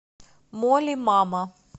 молли мама